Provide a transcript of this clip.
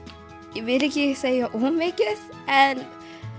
ég vil ekki segja of mikið en